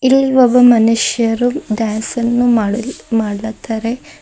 ಇಲ್ ಒಬ್ಬ ಮನುಷ್ಯರು ಡ್ಯಾನ್ಸನ್ನು ಮಾಡ್ಲ ಮಾಡ್ಲತ್ತಾರೆ.